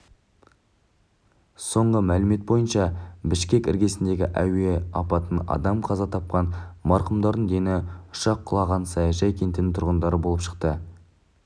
соңғы мәлімет бойынша бішкек іргесіндегі әуе апатынан адам қаза тапқан марқұмдардың дені ұшақ құлаған саяжай кентінің тұрғындары болып шықты